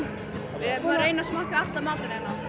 reyna að smakka allan matinn hérna